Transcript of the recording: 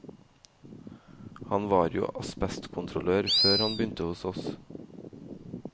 Han var jo asbestkontrollør før han begynte hos oss.